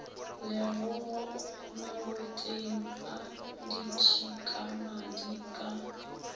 legogo maboteng a ditšhikamadi ka